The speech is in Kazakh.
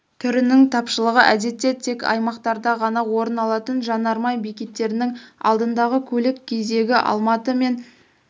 түрінің тапшылығы әдетте тек аймақтарда ғана орын алатын жанармай бекеттерінің алдындағы көлік кезегі алматы мен